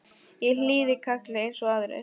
Ég hlýði kalli eins og aðrir.